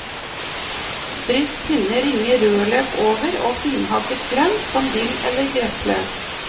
Dryss tynne ringer rødløk over og finhakket grønt som dill eller gressløk.